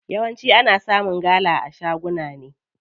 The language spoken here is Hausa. Yawanci ana samun gala a shaguna ne.